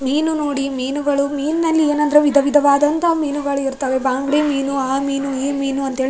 ಮೀನು ನೋಡಿ ಮೀನುಗಳು ಮೀನ್ ನಲ್ಲಿ ಏನಾದ್ರು ವಿಧ ವಿಧವಾದಂತಹ ಮೀನುಗಳು ಇರ್ತಾವ ಬಾಂಗ್ಡಿ ಮೀನು ಆ ಮೀನು ಈ ಮೀನು ಅಂತೇಳಿ.